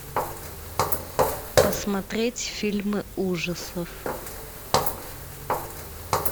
посмотреть фильмы ужасов